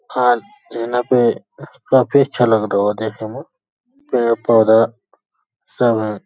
लेना पे काफी अच्छा लग रहा होगा देखे में पेड़ पौधा सब हैं।